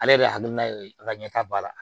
Ale yɛrɛ hakilina ye a ka ɲɛta b'a la